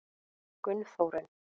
Gunnþórunn